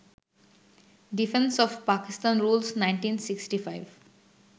defence of Pakistan rules, ১৯৬৫